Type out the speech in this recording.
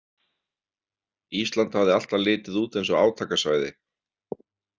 Ísland hafði alltaf litið út eins og átakasvæði.